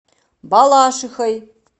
балашихой